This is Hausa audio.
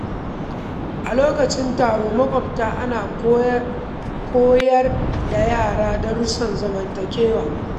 A lokacin taron maƙwabta, ana koyar da yara darussan zamantakewa.